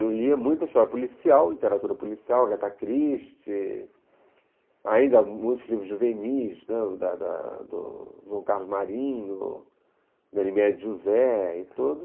Eu lia muita história policial, literatura policial, Agatha Christie, ainda muitos livros juvenis, João Carlos Marinho, Ganymede José e tudo.